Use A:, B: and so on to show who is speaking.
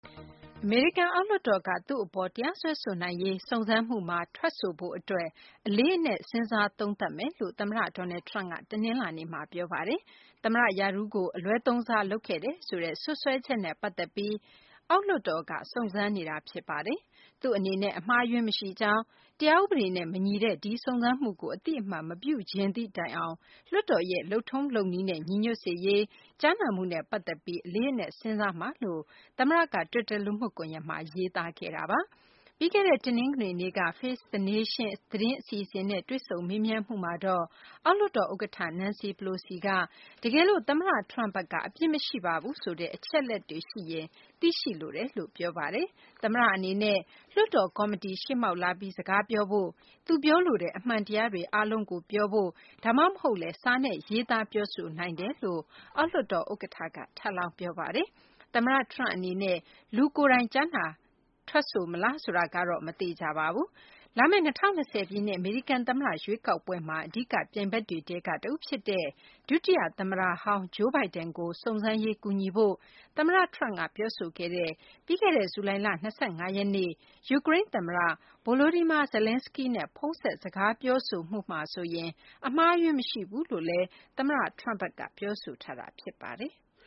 A: အမေရိကန် အောက်လွှတ်တော်က သူ့အပေါ် တရားစွဲဆိုနိုင်ရေး စုံစမ်းမှုမှာ ထွက်ဆိုဖို့ အတွက် အလေးအနက် စဉ်းစား သုံးသပ်မယ်လို့ သမ္မတ Donald Trump က တနလာၤနေ့မှာ ပြောဆိုပါတယ်။ သမ္မတ ရာထူးကို အလွဲသုံးစား လုပ်ခဲ့တယ်ဆိုတဲ့ စွပ်စွဲချက်နဲ့ ပတ်သက်ပြီး အောက်လွှတ်တော်က စုံစမ်းနေတာ ဖြစ်ပါတယ်။ သူ့အနေနဲ့ အမှားအယွင်း မရှိကြောင်း၊ တရားဥပဒေနဲ့ မညီတဲ့ ဒီစုံစမ်းမှုကို အသိအမှတ်မပြုချင်သည့် တိုင်အောင် လွှတ်တော်ရဲ့ လုပ်ထုံးလုပ်နည်းနဲ့ ညီညွတ်စေရေး ကြားနာမှုနဲ့ ပတ်သက်ပြီး အလေးအနက် စဉ်းစားမယ်လို့ သမ္မတက တွစ်တာ လူမှုကွန်ရက်မှာ ရေးခဲ့တာပါ။ ပြီးခဲ့တဲ့ တနင်္ဂနွေနေ့က Face the Nation သတင်းအစီအစဉ်နဲ့ တွေ့ဆုံမေးမြန်းမှုမှာတော့ အောက်လွှတ်တော် ဥက္ကဌ Nancy Pelosi က တကယ်လို့ သမ္မတ Trump ဘက်က အပြစ်မရှိပါဘူးဆိုတဲ့ အချက်အလက်တွေ ရှိရင် သိရှိလိုပါတယ်လို့ ပြောဆိုခဲ့တာပါ။ သမ္မတ အနေနဲ့ လွှတ်တော် ကော်မတီ ရှေ့မှောက်လာပြီး စကားပြောဖို့၊ သူပြောလိုတဲ့ အမှန်တရားတွေ အားလုံးကို ပြောဖို့ ဒါမှမဟုတ်လည်း စာနဲ့ ရေးသား ပြောဆိုနိုင်တယ်လို့လည်း အောက်လွှတ်တော် ဥက္ကဌ Pelosi က ထပ်လောင်း ပြောပါတယ်။ သမ္မတ Trump အနေနဲ့ လူကိုယ်တိုင် ထွက်ဆို မလားဆိုတာကတော့ မသေချာပါဘူး။ လာမယ့် ၂၀၂၀ ပြည့်နှစ် အမေရိကန် သမ္မတ ရွေးကောက်ပွဲမှာ အဓိက ပြိုင်ဘက်တွေထဲက တဦး ဖြစ်တဲ့ ဒုတိယ သမ္မတဟောင်း Joe Biden ကို စုံစမ်းရေး ကူညီဖို့ သမ္မတ Trump က ပြောဆိုခဲ့တဲ့ ပြီးခဲ့တဲ့ ဇူလိုင်လ ၂၅ ရက်နေ့က ယူကရိန်း သမ္မတ Volodymyr Zelenskiy နဲ့ ဖုန်းဆက် စကားပြောဆိုမှုဟာ ဆိုရင် အမှားအယွင်း မရှိခဲ့ဘူးလို့လည်း သမ္မတ Trump က ပြောဆိုထားတာ ဖြစ်ပါတယ်။